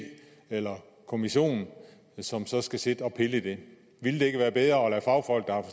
eller kommission som så skal sidde og pille i det ville det ikke være bedre at lade fagfolk